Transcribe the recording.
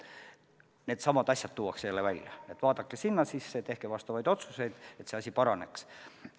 Needsamad asjad tuuakse aina uuesti välja, öeldakse, et vaadake sinna sisse, tehke otsuseid, et see asi paraneks.